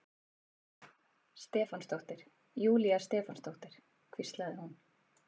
Stefánsdóttir, Júlía Stefánsdóttir, hvíslaði hún.